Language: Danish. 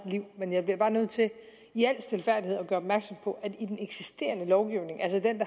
liv men jeg bliver bare nødt til i al stilfærdighed at gøre opmærksom på at i den eksisterende lovgivning altså den